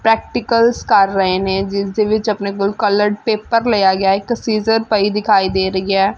Practicals ਕਰ ਰਹੇ ਨੇ ਜਿਸ ਦੇ ਵਿੱਚ ਆਪਣੇ ਕੋਲ ਕਲਰਡ ਪੇਪਰ ਲਿਆ ਗਿਆ ਹੈ ਇੱਕ ਸੀਜਰ ਪਈ ਦਿਖਾਈ ਦੇ ਰਹੀ ਹੈ।